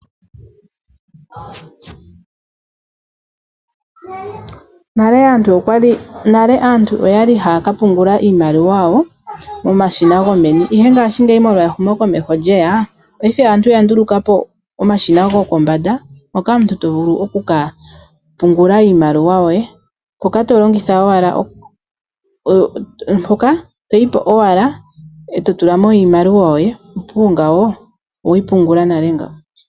Nale aantu oya li haya ka pungula iimaliwa yawo momashina gomeni, ihe ngaashingeyi ehumokomeho sho lye ya paife aantu oya nduluka po omashina gopombanda mboka to vulu oku ka pungula iimaliwa yoye hoka to yi po owala e to tula mo imaliwa yoye, opuwo nga oweyi pungula nale nga.